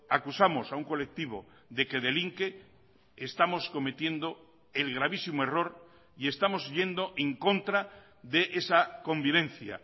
acusamos a un colectivo de que delinque estamos cometiendo el gravísimo error y estamos yendo en contra de esa convivencia